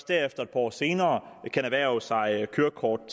derefter et par år senere erhverve sig kørekort